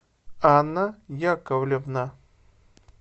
анна яковлевна